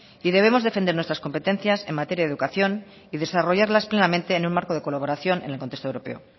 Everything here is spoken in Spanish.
y debemos defender nuestras competencias en materia de educación y desarrollarlas plenamente en un marco de colaboración en el contexto europeo